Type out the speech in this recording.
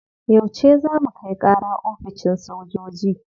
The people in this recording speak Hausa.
Yauce za mu kai kara oficin sojoji?